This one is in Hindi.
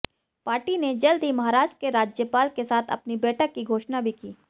पार्टी ने जल्द ही महाराष्ट्र के राज्यपाल के साथ अपनी बैठक की घोषणा भी की